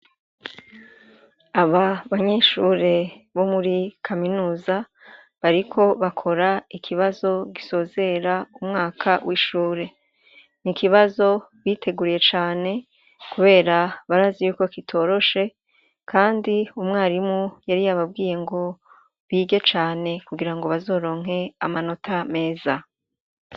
Aba banyeshure bo muri kaminuza bariko bakora ikibazo gisozera umwaka w'ishure, n'ikibazo biteguriye cane kubera barazi yuko kitoroshe kandi umwarimu yari yabwiye ngo bige cane kugira ngo bazoronke amanota meza.